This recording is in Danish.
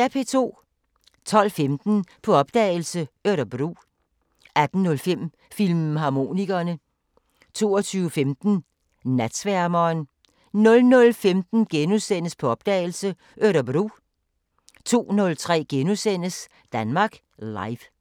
12:15: På opdagelse – Örebro 18:05: Filmharmonikerne 22:15: Natsværmeren 00:15: På opdagelse – Örebro * 02:03: Danmark Live *